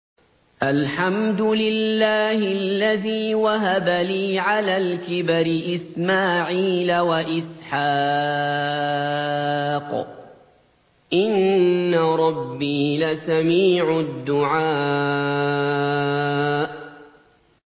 الْحَمْدُ لِلَّهِ الَّذِي وَهَبَ لِي عَلَى الْكِبَرِ إِسْمَاعِيلَ وَإِسْحَاقَ ۚ إِنَّ رَبِّي لَسَمِيعُ الدُّعَاءِ